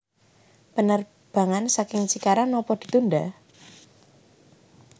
Penerbangan saking Cikarang nopo ditunda?